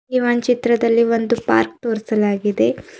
ಈ ಒಂದ್ ಚಿತ್ರದಲ್ಲಿ ಒಂದು ಪಾರ್ಕ್ ತೋರಿಸಲಾಗಿದೆ.